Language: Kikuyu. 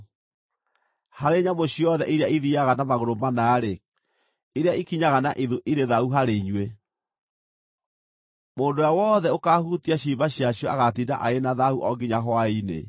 Harĩ nyamũ ciothe iria ithiiaga na magũrũ mana-rĩ, iria ikinyaga na ithu irĩ thaahu harĩ inyuĩ; mũndũ ũrĩa wothe ũkaahutia ciimba ciacio agaatinda arĩ na thaahu o nginya hwaĩ-inĩ.